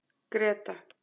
Greta